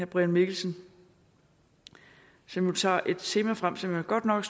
brian mikkelsen som tager et tema frem som jeg godt nok